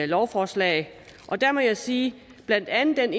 lovforslag og der må jeg sige at blandt andet den